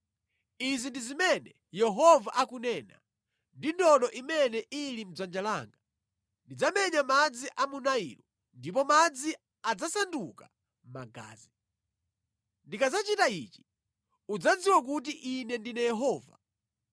Izi ndi zimene Yehova akunena: Ndi ndodo imene ili mʼdzanja langa ndidzamenya madzi a mu Nailo, ndipo madzi adzasanduka magazi. Ndikadzachita ichi udzadziwa kuti Ine ndine Yehova: